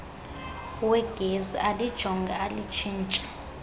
wegesi alijonge alitshintshe